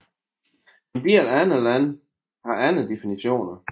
En del andre lande har andre definitioner